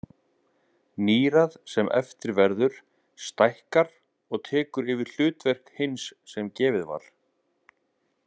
Nýrað sem eftir verður stækkar og tekur yfir hlutverk hins sem gefið var.